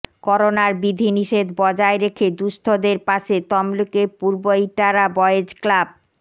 করোনার বিধিনিষেধ বজায় রেখে দুঃস্থদের পাশে তমলুকের পূর্ব ইটারা বয়েজ ক্লাব